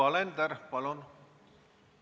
Yoko Alender, palun!